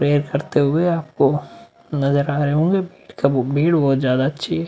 Prayer करते हुए आपको नजर आ रहे होंगे ।